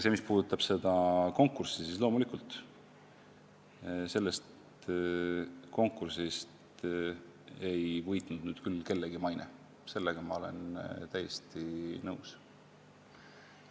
Mis puudutab seda konkurssi, siis loomulikult ei võitnud sellest konkursist küll kellegi maine, sellega ma olen täiesti nõus.